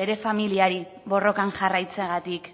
bere familiari borrokan jarraitzeagatik